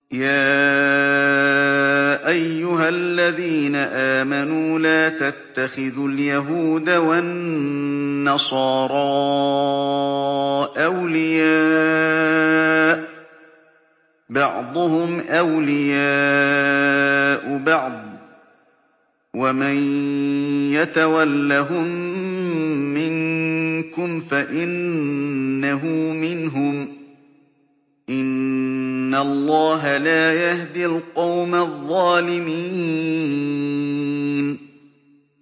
۞ يَا أَيُّهَا الَّذِينَ آمَنُوا لَا تَتَّخِذُوا الْيَهُودَ وَالنَّصَارَىٰ أَوْلِيَاءَ ۘ بَعْضُهُمْ أَوْلِيَاءُ بَعْضٍ ۚ وَمَن يَتَوَلَّهُم مِّنكُمْ فَإِنَّهُ مِنْهُمْ ۗ إِنَّ اللَّهَ لَا يَهْدِي الْقَوْمَ الظَّالِمِينَ